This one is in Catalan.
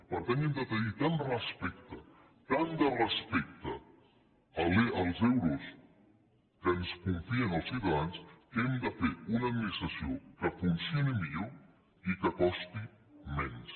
per tant hem de tenir tant respecte tant de respecte als euros que ens confien els ciutadans que hem de fer una administració que funcioni millor i que costi menys